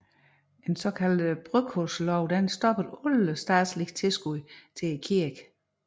En såkaldt brødkurvslov stoppede alle statslige tilskud til kirken